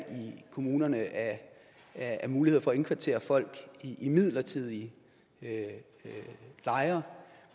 kommunerne af af muligheder for at indkvartere folk i midlertidige lejre